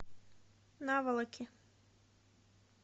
наволоки